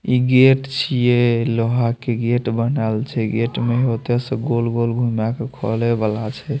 इ गेट छे लोहा के गेट बनाल छे गेट में छोटा सा गोल-गोल घुमा के खोले वाला छे।